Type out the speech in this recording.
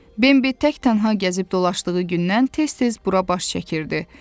Bembi tək-tənha gəzib dolaşdığı gündən tez-tez bura baş çəkirdi.